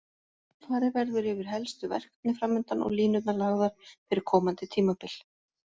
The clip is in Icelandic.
Farið verður yfir helstu verkefni framundan og línurnar lagðar fyrir komandi tímabil.